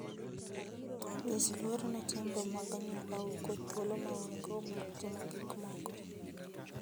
Nyis luor ne timbe mag anyuolau kod thuolo ma un-go mar timo gik moko.